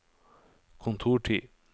kontortid